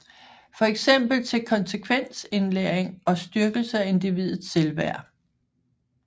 For eksempel til konsekvensindlæring og styrkelse af individets selvværd